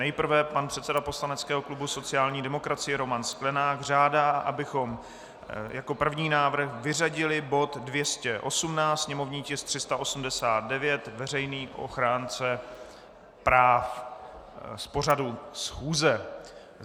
Nejprve pan předseda poslaneckého klubu sociální demokracie Roman Sklenák žádá, abychom jako první návrh vyřadili bod 218, sněmovní tisk 389, veřejný ochránce práv, z pořadu schůze.